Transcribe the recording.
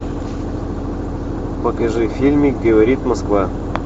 покажи фильм говорит москва